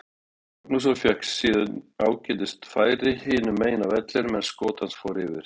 Hörður Magnússon fékk síðan ágætis færi hinu megin á vellinum en skot hans fór yfir.